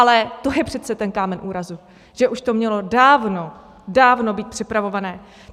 Ale to je přece ten kámen úrazu, že už to mělo dávno, dávno být připravované.